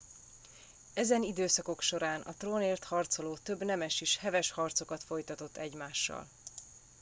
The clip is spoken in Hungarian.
ezen időszakok során a trónért harcoló több nemes is heves harcokat folytatott egymással